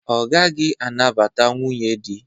Ọ gaghị anabata nwunye dị.